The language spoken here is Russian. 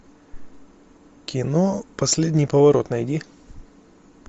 кино последний поворот найди